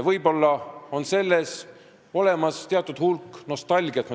Võib-olla on selles teatud hulk nostalgiat.